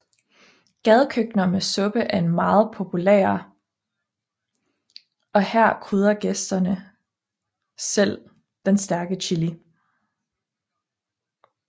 Gadekøkkener med suppe er meget populære og her krydrer gæsten selv den stærke chili